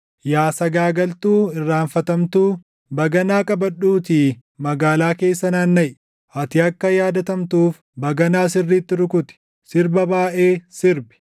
“Yaa sagaagaltuu irraanfatamtuu, baganaa qabadhuutii magaalaa keessa naannaʼi; ati akka yaadatamtuuf baganaa sirriitti rukuti; sirba baayʼee sirbi.”